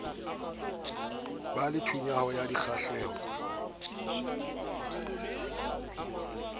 ba le thulano ya dikgahleho